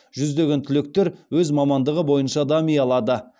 жүздеген түлектер өз мамандығы бойынша дами алады